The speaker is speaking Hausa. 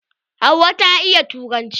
Hauwa ta iya turanci.